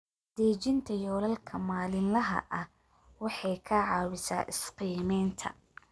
Dejinta yoolalka maalinlaha ah waxay ka caawisaa is-qiimaynta.